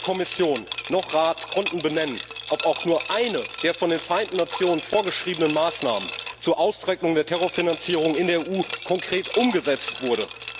Weder Kommission noch Rat konnten benennen, ob auch nur eine der von den Vereinten Nationen vorgeschriebenen Maßnahmen zur Austrocknung der Terrorfinanzierung in der EU konkret umgesetzt wurde.